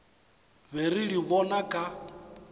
be re di bona ka